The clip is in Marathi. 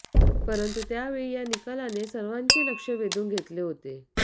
परंतु त्यावेळी या निकालाने सर्वांचे लक्ष वेधून घेतले होते